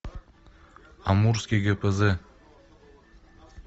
амурский гпз